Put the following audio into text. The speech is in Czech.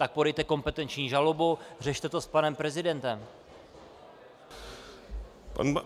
Tak podejte kompetenční žalobu, řešte to s panem prezidentem.